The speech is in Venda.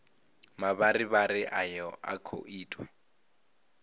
mavharivhari ayo a khou itwa